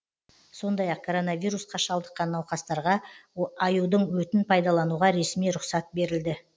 сондай ақ коронавирусқа шалдыққан науқастарға аюдың өтін пайданалуға ресми рұқсат берілді